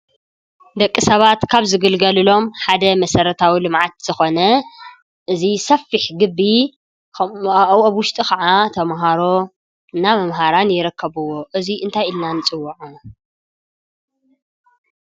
ደቂ ሰባት ካብ ዝግልገልሎም ሓደ መሰረታዊ ልምዓት ዝኾነ እዚ ሰፊሕ ግቢ ኣብ ውሽጡ ከዓ ተመሃሮና መምሃራን ይርከብዎ:: እዚ እንታይ ኢልና ንፅውዖ